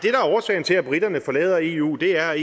er årsagen til at briterne forlader eu er